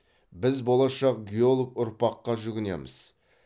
біз болашақ геолог ұрпаққа жүгінеміз